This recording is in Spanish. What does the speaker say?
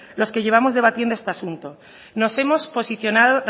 los que llevamos debatiendo este asunto nos hemos posicionado